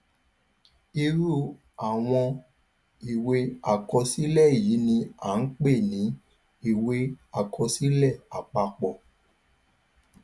irú àwọn ìwé àkọsílẹ yìí ni a pè ní ìwé àkọsílẹ àpapọ